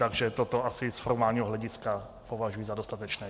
Takže toto asi z formálního hlediska považuji za dostatečné.